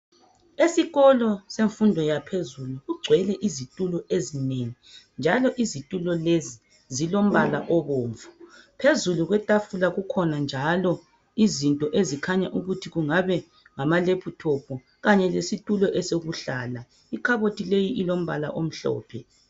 Esikolo semfundo yaphezulu kugcwele izitulo ezinengi njalo izitulo lezi zilombala obomvu phezulu kwetafula kukhona njalo izinto ezikhanya ukuthi kungabe ngamalephuthophu kanye lesitulo esokuhlala ikhabothi leyi ilombala omhlophe.